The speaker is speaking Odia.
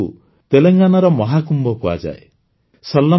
ଏହି ମେଳାକୁ ତେଲଙ୍ଗାନାର ମହାକୁମ୍ଭ କୁହାଯାଏ